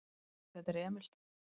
"""Hæ, þetta er Emil."""